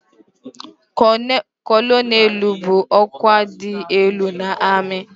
Kọlọnelụ bụ ọkwa dị elu n'amị.